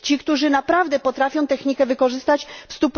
Ci, którzy naprawdę potrafią technikę wykorzystać w